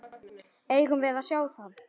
Eigum við að sjá það?